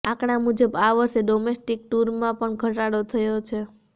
આંકડા મુજબ આ વર્ષે ડોમેસ્ટિક ટૂરમાં પણ ઘટાડો થયો છે